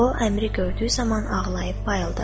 O, Əmiri gördüyü zaman ağlayıb bayıldı.